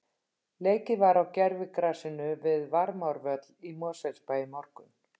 Leikið var á gervigrasinu við Varmárvöll í Mosfellsbæ í morgun.